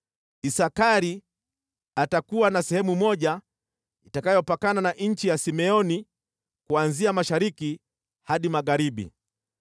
“Isakari atakuwa na sehemu moja, itakayopakana na nchi ya Simeoni kuanzia mashariki hadi magharibi.